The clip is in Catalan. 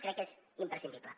crec que és imprescindible